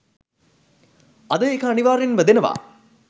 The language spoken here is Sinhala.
අද ඒක අනිවාර්යයෙන්ම දෙනවා.